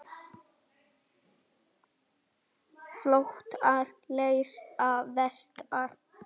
Flotar leysa festar.